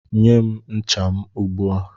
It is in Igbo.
Nye m ncha m ugbu a!